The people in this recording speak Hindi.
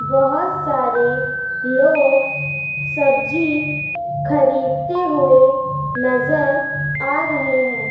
बहोत सारे लोग सब्जी खरीदने हुए नजर आ रहे हैं।